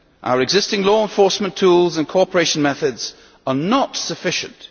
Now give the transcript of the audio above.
Our existing law enforcement tools and cooperation methods are not sufficient.